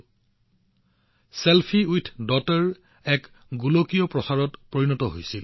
মুহূৰ্ততে selfie with daughter গোলকীয় অভিযানলৈ ৰূপান্তৰিত হল